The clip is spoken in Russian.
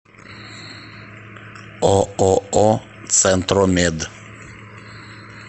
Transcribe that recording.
ооо центромед